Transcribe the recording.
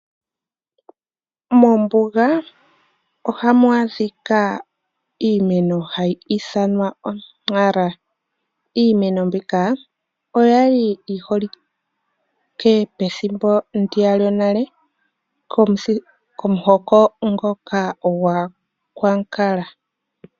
Mombuga ohamu adhika iimeno hayi ithanwa o!Nara. Iimeno mbika oya li yi holike pethimbo ndiya lyonale komuhoko ngoka gwAakwankala.